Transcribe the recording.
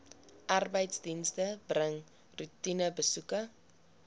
arbeidsdienste bring roetinebesoeke